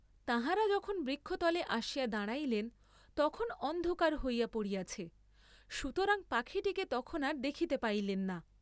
তাঁহারা বখন বৃক্ষতলে আসিয়া দাঁড়াইলেন তখন অন্ধকার হইয়া পড়িয়াছে, সুতরাং পাখীটিকে তখন আর দেখিতে পাইলেন না।